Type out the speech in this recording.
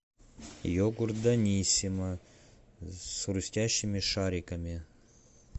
йогурт даниссимо с хрустящими шариками